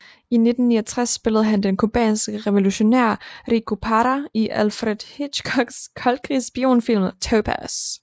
I 1969 spillede han de cubanske revolutionær Rico Parra i Alfred Hitchcocks koldkrigs spionfilm Topaz